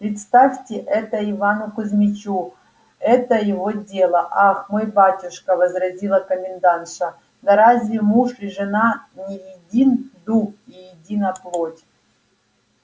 предоставьте это ивану кузмичу это его дело ах мой батюшка возразила комендантша да разве муж и жена не един дух и едина плоть